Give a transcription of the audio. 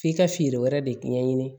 F'i ka feere wɛrɛ de ɲɛɲini